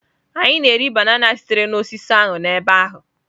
Anyị na-eri banana sitere na osisi ahụ n'ebe ahụ.